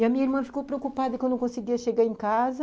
E a minha irmã ficou preocupada que eu não conseguia chegar em casa.